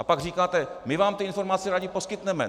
A pak říkáte - my vám ty informace rádi poskytneme.